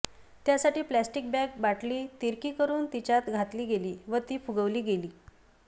त्यासाठी plastic bag बाटली तिरकी करून तिच्यात घातली गेली व ती फुगविली गेली